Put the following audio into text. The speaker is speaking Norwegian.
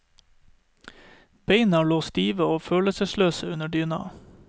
Beina lå stive og følelsesløse under dyna.